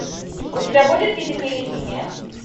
у тебя будет физика или химия